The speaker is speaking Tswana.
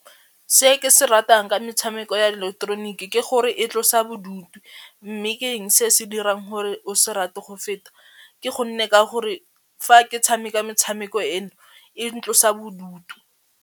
Se ke se ratang ka metshameko ya ileketeroniki ke gore e tlosa bodutu mme ke eng se se dirang gore o se rate go feta, ke gonne ka gore fa ke tshameka metshameko eno e ntlosa bodutu.